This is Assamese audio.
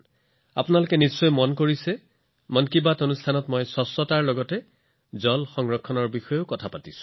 আপোনালোকে নিশ্চয় লক্ষ্য কৰিছে যে মন কী বাতত মই অনাময়ৰ লগতে বাৰে বাৰে পানী সংৰক্ষণৰ দৰে বিষয়ৰ বিষয়ে কথা পাতিছো